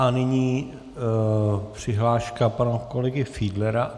A nyní přihláška pana kolegy Fiedlera.